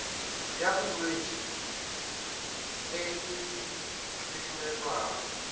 ya bolwetse e e kleimelwago